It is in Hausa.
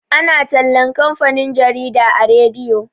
ana tallan kamfanin jarida a rediyo